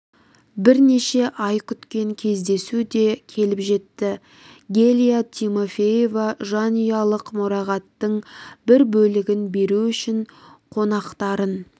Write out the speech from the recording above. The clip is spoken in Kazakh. бірнеше ай күткен кездесу де келіп жетті гелия тимофеева жанұялық мұрағаттың бір бөлігін беру үшін қонақтарын